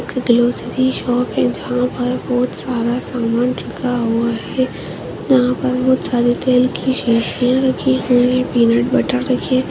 एक grocery shop है जहा पर भोत सारा सामान रखा हुआ है यहा पर भोत सारी टेल की शीशिया रखी हुई है पीनट बटर रखे --